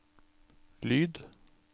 lyd